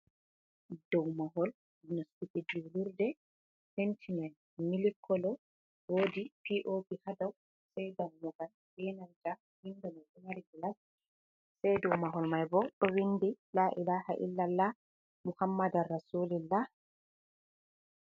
Dow mahol nastuki juulurde. Penti man mili kolo. Woodi POP haa dow, sai dammugal, be nalta windo ɗo mari gilas. Sai dow mahol mai bo, ɗo windi 'laa’ilaha illallah Muhammadal rasulillah'.